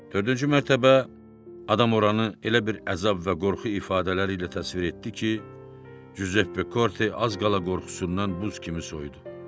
Dördüncü mərtəbə Adam oranı elə bir əzab və qorxu ifadələri ilə təsvir etdi ki, Jüzeppe Korte az qala qorxusundan buz kimi soyudu.